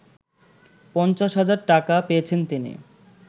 ৫০ হাজার টাকা পেয়েছেন তিনি